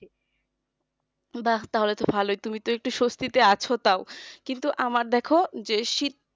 বাহ তাহলে তো ভালোই তুই তো একটু স্বস্তি তে আছো তাও কিন্তু আমার দেখো যে শীত